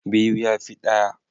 Biyu ya fi ɗaya.